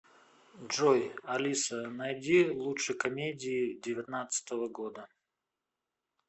джой алиса найди лучше комедии девятнадцатого года